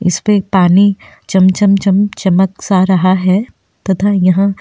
इस पे एक पानी चम् चम् चमक सा रहा है तथा यहा --